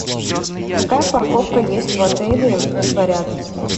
какая парковка есть в отеле либо рядом с ним